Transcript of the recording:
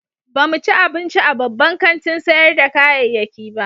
Ba mu ci abinci a babban kantin sayar da kayayyaki ba.